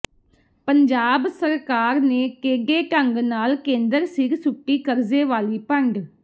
ਪੰਜਾਬ ਸਰਕਾਰ ਨੇ ਟੇਢੇ ਢੰਗ ਨਾਲ ਕੇਂਦਰ ਸਿਰ ਸੁੱਟੀ ਕਰਜ਼ੇ ਵਾਲੀ ਪੰਡ